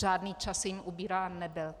Žádný čas jim ubírán nebyl.